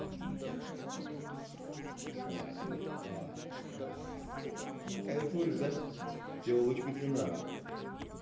ой ой ой ой сука кайфуешь да тёлочку тебе надо